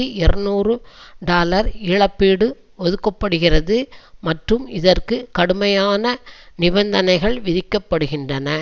இருநூறு டாலர் இழப்பீடு ஒதுக்க படுகிறது மற்றும் இதற்கு கடுமையான நிபந்தனைகள் விதிக்கப்படுகின்றன